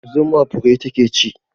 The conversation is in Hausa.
Zuma fure ta ke ci